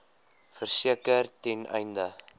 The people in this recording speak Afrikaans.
verseker ten einde